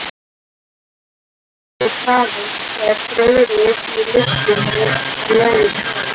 Fyrirtækið hefur krafist, sagði Friðrik í lyftunni á leiðinni niður.